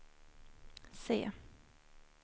se